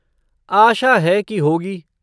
आशा है कि होगी।